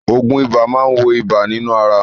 Òògùn ibà máa wo ibà nínú ara.